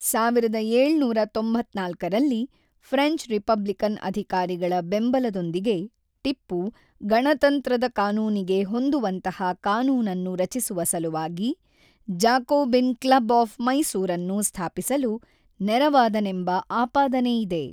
ಹದಿನೇಳು ಸಾವಿರದ ತೊಂಬತ್ತ್ನಾಲ್ಕರಲ್ಲಿ ಫ್ರೆಂಚ್ ರಿಪಬ್ಲಿಕನ್ ಅಧಿಕಾರಿಗಳ ಬೆಂಬಲದೊಂದಿಗೆ ಟಿಪ್ಪು, ಗಣತಂತ್ರದ ಕಾನೂನಿಗೆ ಹೊಂದುವಂತಹ ಕಾನೂನನ್ನು ರಚಿಸುವ ಸಲುವಾಗಿ, ಜಾಕೋಬಿನ್ ಕ್ಲಬ್ ಆಫ್ ಮೈಸೂರನ್ನು ಸ್ಥಾಪಿಸಲು ನೆರವಾದನೆಂಬ ಆಪಾದನೆಯಿದೆ.